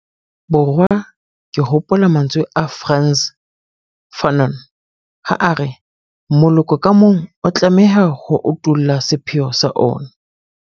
Borwa ke hopola mantswe a Frantz Fanon ha a re 'moloko ka mong o tlameha ho utolla sepheo sa ona'.